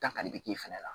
Ta kali bi k'i fɛnɛ la